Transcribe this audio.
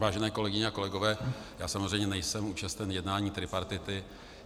Vážené kolegyně a kolegové, já samozřejmě nejsem účasten jednání tripartity.